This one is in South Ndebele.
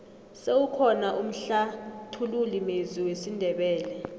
sewukhona umhlathululi mezwi wesindebele